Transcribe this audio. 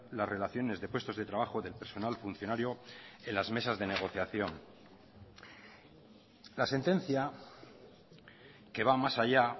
las relaciones de puestos de trabajo del personal funcionario en las mesas de negociación la sentencia que va más allá